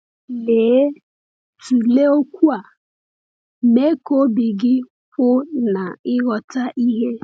Lee, tụlee okwu a: “Mee ka obi gị kwụ n’ịghọta ihe.”